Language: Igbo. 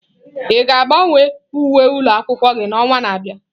Ị ga-agbanwe uwe ụlọ akwụkwọ gị n'ọnwa na-abịa?